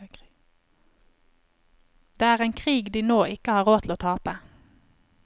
Det er en krig de nå ikke har råd til å tape.